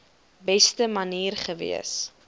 beste manier gewees